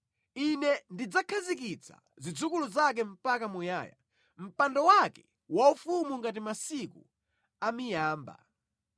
Ine ndidzakhazikitsa zidzukulu zake mpaka muyaya, mpando wake waufumu ngati masiku a miyamba.